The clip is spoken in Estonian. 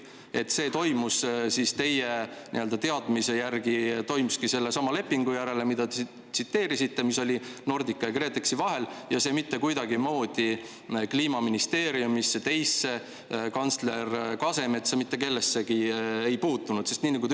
Kas see toimuski teie teadmise järgi sellesama Nordica ja KredExi vahelise lepingu järgi, mida te tsiteerisite, ja see mitte kuidagimoodi Kliimaministeeriumisse, teisse, kantsler Kasemetsa, mitte kellessegi ei puutunud?